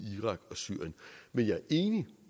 syrien men jeg er enig